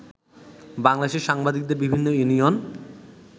বাংলাদেশের সাংবাদিকদের বিভিন্ন ইউনিয়ন